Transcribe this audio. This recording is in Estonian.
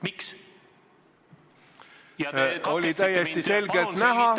Miks te katkestasite mind?